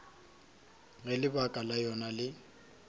ge lebaka la yona le